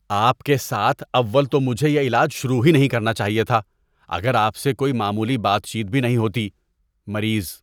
آپ کے ساتھ اول تو مجھے یہ علاج شروع ہی نہیں کرنا چاہیے تھا اگر آپ سے کوئی معمولی بات چیت بھی نہیں ہوتی۔ (مریض)